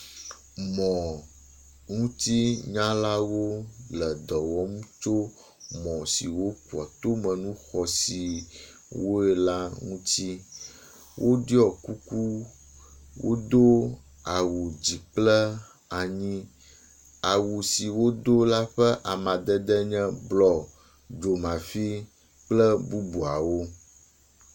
Mɔŋutinyalawo le dɔ wɔm tso mɔ siwo kua tome nu xɔsiwo la ŋuti. Woɖɔi kuku. Wodo awu dzikplanyi. Awu si wodo la ƒe amadede nye blɔ, dzomafi kple bubuawo